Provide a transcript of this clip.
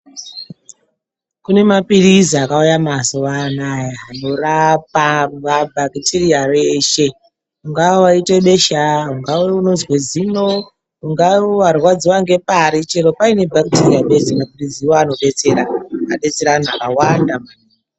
Kune mapirizi akauya mazuwa anaya inorapa rapa bakitiriya reshe. Ungawa waita besha ungawa unozwa zino ungawa warwadziwa ngpari chero paine bakitiriya bedzi mapirizi iwona awawo anodetsera, adetsera antu vakawanda maningi.